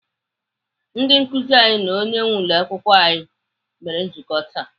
Ndị nkụzi anyị na onye nwee ụlọakwụkwọ anyị mere nzukọ taa.